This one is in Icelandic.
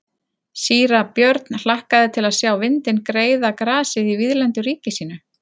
Síra Björn hlakkaði til að sjá vindinn greiða grasið í víðlendu ríki sínu.